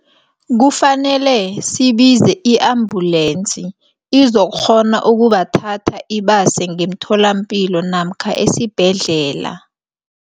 Kufanele sibize i-ambulance izokghona ukubathatha ibase ngemtholampilo namkha esibhedlela.